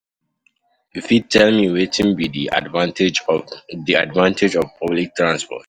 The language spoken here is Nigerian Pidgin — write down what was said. You fit tell me wetin be di advantage of di advantage of public transport?